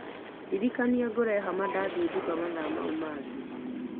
Ndirikania ngũre hama ndathie nduka mathaa mau mangĩ.